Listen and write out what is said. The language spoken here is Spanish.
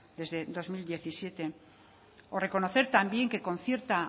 desde dos mil diecisiete o reconocer también que con cierta